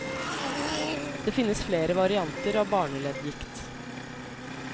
Det finnes flere varianter av barneleddgikt.